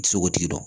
Sogo tigi dɔ